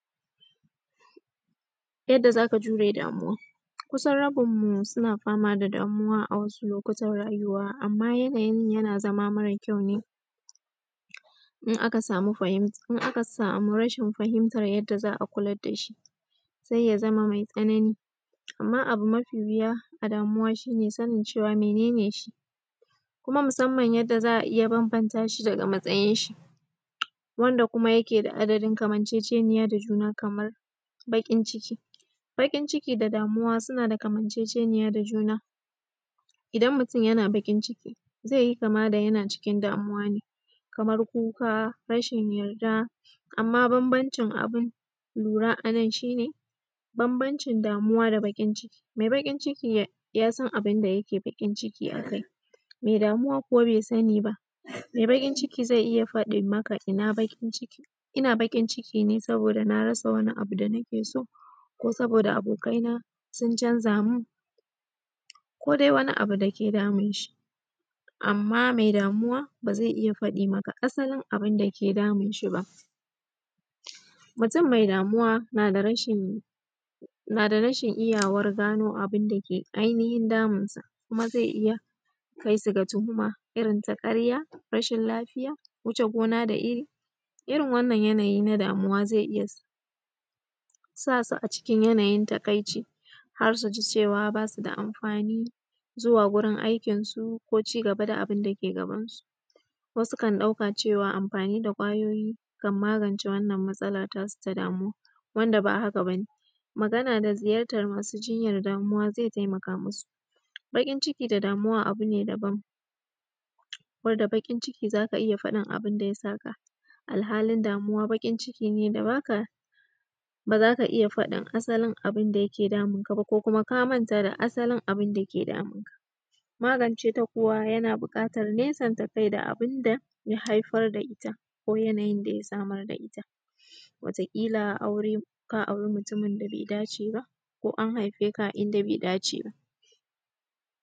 Yadda za ka jure damuwa, kusan rabinmu suna fama da damuwa amma yanayinmu yana zama mara ƙyau ne idan aka samu rashin fahimtar yadda za a kula da shi sai ya zama mai tsanani. Amma abu mafi wuya a damuwa shi sanin mene ne shi, kuma musamman ma yadda za a iya bambanta shi daga matsayin shi. Wand kuman yake da adadin kamaceceniya da juma kamar baƙin ciki. Baƙin ciki da damuwa suna da kamaceceniya da juna, idan mutum yana bakin ciki zai yi kama da yana xikin damuwa kamar kuka rashin yarda. Amma bambanci abun lura a nan shi ne: bambanci damuwa da baƙin ciki, mai baƙi cikin yasan abunda yake bakin ciki a kai, mai damuwa kuwa bai sani ba. Mai baƙin ciki zai iya faɗin maka yana bakin ciki, ina bakin ciki ne saboda rasa wani abu da nake so ko saboda abokaina sun canza mun ko dai wani abu da yake damun shi. Amma mai damuwa bai iya fade maka asalin abun da yake damun shi ba. Mutum mai damuwa na da rashi iyawar gano abun dake damunsa kuma ya kai su da tuhuma irin ta ƙarya rashin lafiya ,wuce gona da. Irin wannan yanayi na damuwa zai iya sa su a cikin yanayin takaici har su ji ba su da amfani zuwa gurin aikinsu ko ci gaba da abun da ke gabansu. Ko sukan ɗauka cewa amfani da ƙwayoyin zai magance wannan matsala tasu ta damuwa ba haka ba ne. Magana da ziyartar masu jinya ciwon damuwa zai taimaka musu. Baƙin ciki da damuwa abu ne daban ko da baƙin ciki za ka fada abun da ya saka amma damuwa baƙin ciki ne da ba za ka iya faɗin abun da yake damunka ba ko kuma ka manta da asalin abun da yake damunka. Magance ta kuwa yana buƙatar nesanta kai da abun da ya haifar da ita ko yanayi da ya samar da ita kila ka aure mutumin da bai dace ba ko an haife ka a inda bai dace ba.